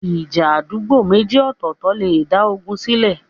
ìja àdúgbò méjì ọ̀tọ̀ọ̀tọ̀ lè dá ogun sílẹ̀.